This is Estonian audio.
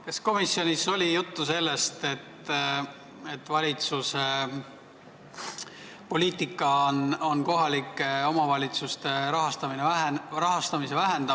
Kas komisjonis oli juttu sellest, et valitsuse poliitika on kohalike omavalitsuste rahastamise vähendamine?